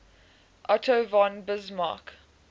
otto von bismarck